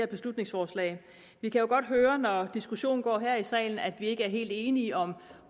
beslutningsforslag vi kan jo godt høre når diskussionen går her i salen at vi ikke er helt enige om